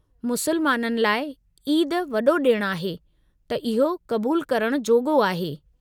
मुसलमाननि लाइ ईदु वॾो ॾिणु आहे त इहो क़बूलु करण जोॻो आहे।